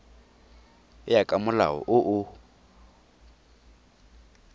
ya ka molao o o